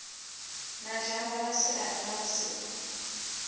na zhamba masiari na vhusiku